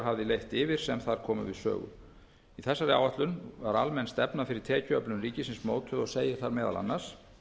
fleiri hafði leitt yfir sem þar komu við sögu í þessari áætlun er almenn stefna fyrir tekjuöflun ríkisins mótuð og segir þar meðal annars